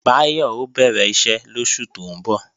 Báyọ̀ ó bẹ̀rẹ̀ iṣẹ́ lóṣù tó ń bọ̀